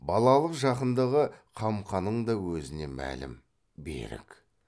балалық жақындығы қамқаның да өзіне мәлім берік